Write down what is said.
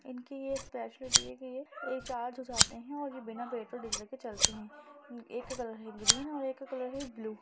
इनकी ये स्पेशालिटी है कि ये चार्ज हो जाते हैं और ये बिना बैटरी बिजली के चलते हैं एक का कलर है ग्रीन और एक का कलर है ब्लू ।